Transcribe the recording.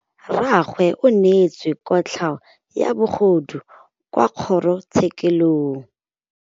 Rragwe o neetswe kotlhaô ya bogodu kwa kgoro tshêkêlông.